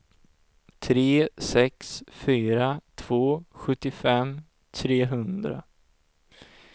tre sex fyra två sjuttiofem trehundra